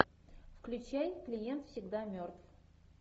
включай клиент всегда мертв